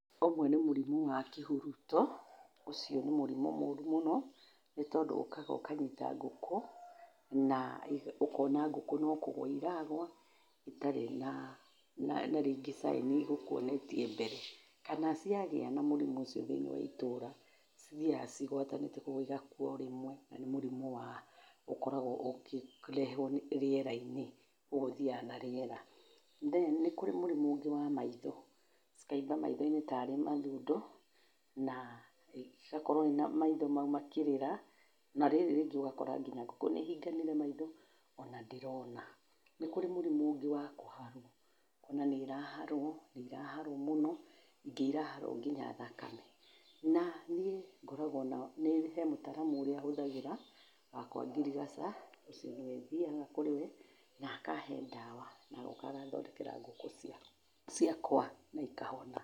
Ũmwe nĩ mũrimũ wa kĩhuruto, ũcio nĩ mũrimũ mũru mũno nĩ tondũ ũkaga ũkanyita ngũkũ, na ũkona ngũkũ no kũgũa iragua itarĩ na rĩngĩ caĩni igũkwonetie mbere, kana ciagĩa na mũrimũ ũcio thĩiniĩ wa ĩtũra cithiaga cigwatanĩtie, koguo igakua o rĩmwe, na nĩ mũrimũ wa ũkoragwo ũkĩrehwo rĩera-inĩ, koguo ũthiaga na rĩera. Then nĩ kũrĩ mũrimũ ũngĩ wa maitho, cikaimba maitho-inĩ taarĩ mathundo, igakorwo maitho mau makĩrĩra na rĩrĩ rĩngĩ ũgakora ngũkũ nĩ ihinganire maitho ona ndĩrona. Nĩ kũrĩ mũrimũ ũngĩ wa kũharwo, ũkona nĩ iraharwo, nĩ iraharwo mũno, ingĩ iraharwo nginya thakame. Na niĩ ngoragwo na, hee mũtaaramu ũria hũthagĩra wa kwa ngirigaca, ũcio nĩwe thiaga kũrĩ we na akahe ndawa, na agoka agathondekera ngũkũ ciakwa na ikahona.